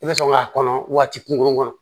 I bɛ sɔn k'a kɔnɔ waati kunkurunnin kɔnɔ